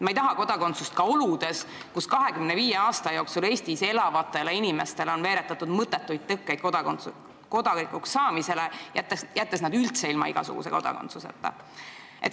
Ta ei tahaks kodakondsust ka oludes, kus 25 aasta jooksul on Eestis elavate inimeste teele veeretatud mõttetuid kodanikuks saamise tõkkeid, nii et neil pole üldse mingit kodakondsust.